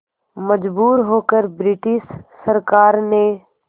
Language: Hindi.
मजबूर होकर ब्रिटिश सरकार ने